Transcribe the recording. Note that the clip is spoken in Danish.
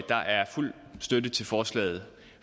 der er fuld støtte til forslaget